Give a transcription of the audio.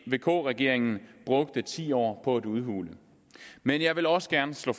vk regeringen brugte ti år på at udhule men jeg vil også gerne slå